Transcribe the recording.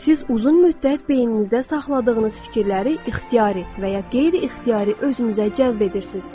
Siz uzun müddət beyninizdə saxladığınız fikirləri ixtiyari və ya qeyri-ixtiyari özünüzə cəzb edirsiz.